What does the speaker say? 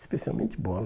Especialmente bola.